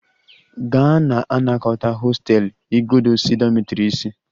Gaa na-anakọta hostel igodo si dormitory isi!